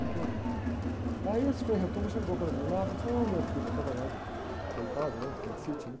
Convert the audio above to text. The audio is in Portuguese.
muito... Aí esse frei chegou para mim lá e falou assim, ô, meu filho, eu estava lá de, deitado, né? Apendicite, né?